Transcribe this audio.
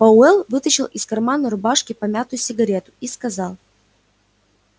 пауэлл вытащил из кармана рубашки помятую сигарету и сказал